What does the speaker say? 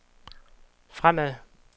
fremad